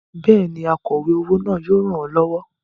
Bẹ́ẹ̀ni, akọ̀we owó náà yóò ràn ọ́ lọ́wọ́.